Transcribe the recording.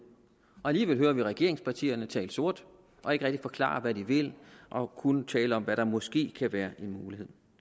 og alligevel hører vi regeringspartierne tale sort og ikke rigtig forklare hvad de vil og kun tale om hvad der måske kan være en mulighed